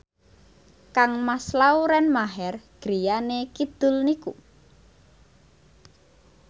kangmas Lauren Maher griyane kidul niku